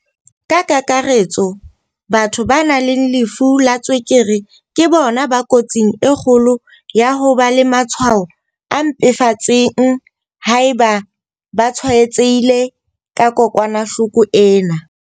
Ka kakaretso, batho ba nang le lefu la tswekere ke bona ba kotsing e kgolo ya ho ba le matshwao a mpefetseng haeba ba tshwaetsehile ke kokwanahloko ena.